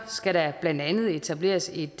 skal der blandt andet etableres et